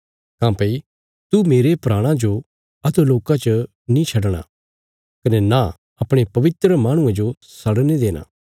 काँह्भई तू मेरे प्राणा जो अधोलोका च नीं छडणा कने नां अपणे पवित्र माहणुये जो सड़ने देणा